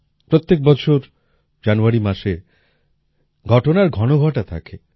প্রত্যেক বছর জানুয়ারি মাসে ঘটনার ঘনঘটা থাকে